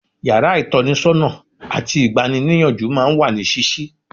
Yàrá ìtọ́nisọ́nà àti ìgbani-níyànjú máa ń wà ní ṣíṣí.